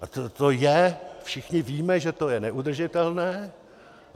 A to je, všichni víme, že to je neudržitelné.